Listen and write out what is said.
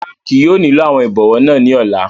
Rara, kii yóò nilo awọn ibọwọ naa ni ọla